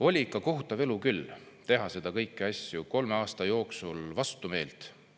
Oli ikka kohutav elu küll teha neid kõiki asju kolme aasta jooksul vastumeelt!